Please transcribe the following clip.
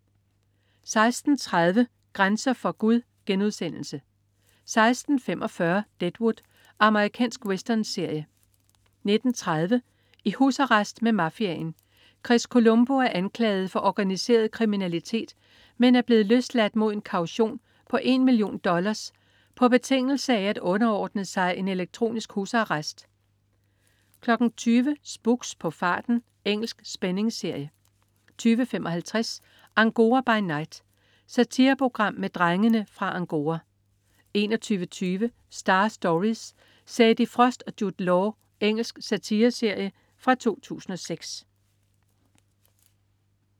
16.30 Grænser for Gud* 16.45 Deadwood. Amerikansk westernserie 19.30 I husarrest med mafiaen. Chris Colombo er anklaget for organiseret kriminalitet, men er blevet løsladt mod en kaution på en million dollars på betingelse af at underordne sig en elektronisk husarrest 20.00 Spooks: På farten. Engelsk spændingsserie 20.55 Angora by night. Satireprogram med "Drengene fra Angora" 21.20 Star Stories: Sadie Frost og Jude Law. Engelsk satireserie fra 2006